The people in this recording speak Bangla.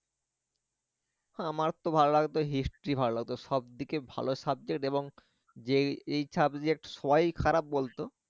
আমার তো ভালো লাগতো history ভালো লাগতো সবদিকে ভালো subject এবং যে এই subject সবাই খারাপ বলতো,